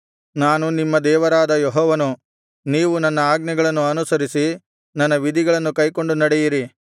ನಾನು ನಿಮ್ಮ ದೇವರಾದ ಯೆಹೋವನು ನೀವು ನನ್ನ ಆಜ್ಞೆಗಳನ್ನು ಅನುಸರಿಸಿ ನನ್ನ ವಿಧಿಗಳನ್ನು ಕೈಕೊಂಡು ನಡೆಯಿರಿ